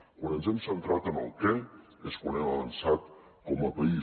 quan ens hem centrat en el què és quan hem avançat com a país